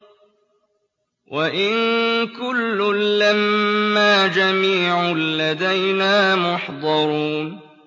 وَإِن كُلٌّ لَّمَّا جَمِيعٌ لَّدَيْنَا مُحْضَرُونَ